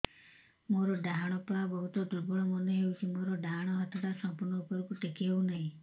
ମୋର ଡାହାଣ ପାଖ ବହୁତ ଦୁର୍ବଳ ମନେ ହେଉଛି ଡାହାଣ ହାତଟା ସମ୍ପୂର୍ଣ ଉପରକୁ ଟେକି ହେଉନାହିଁ